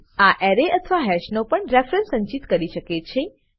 આ એરે અથવા હેશનો પણ રેફેરેન્સ સંચિત કરી શકે છે